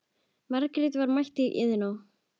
Margrét var mætt í Iðnó.